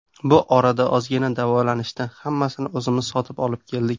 Bu orada ozgina davolanishdi, hammasini o‘zimiz sotib olib keldik.